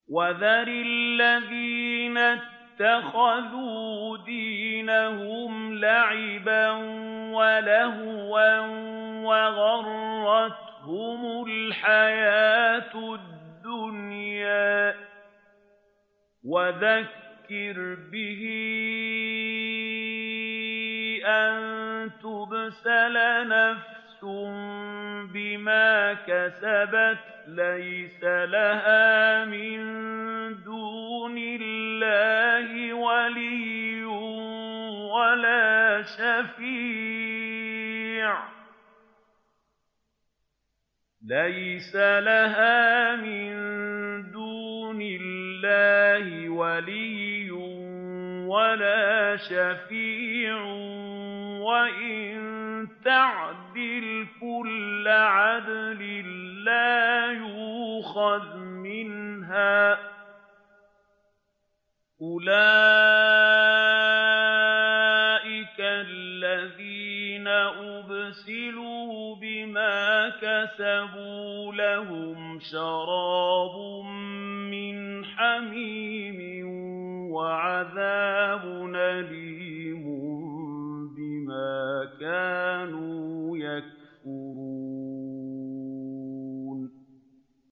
وَذَرِ الَّذِينَ اتَّخَذُوا دِينَهُمْ لَعِبًا وَلَهْوًا وَغَرَّتْهُمُ الْحَيَاةُ الدُّنْيَا ۚ وَذَكِّرْ بِهِ أَن تُبْسَلَ نَفْسٌ بِمَا كَسَبَتْ لَيْسَ لَهَا مِن دُونِ اللَّهِ وَلِيٌّ وَلَا شَفِيعٌ وَإِن تَعْدِلْ كُلَّ عَدْلٍ لَّا يُؤْخَذْ مِنْهَا ۗ أُولَٰئِكَ الَّذِينَ أُبْسِلُوا بِمَا كَسَبُوا ۖ لَهُمْ شَرَابٌ مِّنْ حَمِيمٍ وَعَذَابٌ أَلِيمٌ بِمَا كَانُوا يَكْفُرُونَ